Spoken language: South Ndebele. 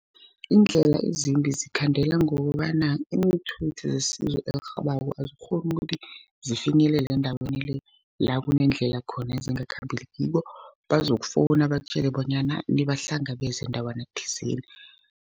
Iindlela ezimbi zikhandela, ngokobana iinthuthi zesizo elirhabako azikghoni ukuthi, zifinyelela endaweni le, la kuneendlela khona ezingakhambekiko. Bazokufowuna bakutjele bonyana nibahlangabeze ndawana thizeni.